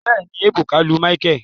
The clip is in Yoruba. Bẹẹni, ebuka lu micheal